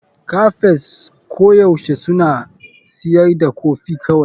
Cafes koyaushe suna siyar da kofi kawai.